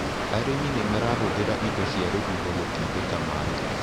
Arĩmi nĩmarahũthĩra indo cia rũhuho gũtindĩka maĩ.